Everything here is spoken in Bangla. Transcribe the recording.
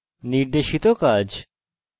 নির্দেশিত কাজ